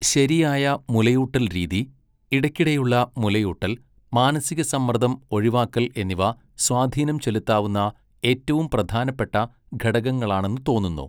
ശരിയായ മുലയൂട്ടൽ രീതി, ഇടയ്ക്കിടെയുള്ള മുലയൂട്ടൽ, മാനസികസമ്മർദ്ദം ഒഴിവാക്കൽ എന്നിവ സ്വാധീനംചെലുത്താവുന്ന ഏറ്റവും പ്രധാനപ്പെട്ട ഘടകങ്ങളാണെന്ന് തോന്നുന്നു.